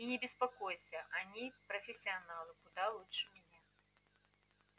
и не беспокойся они профессионалы куда лучше меня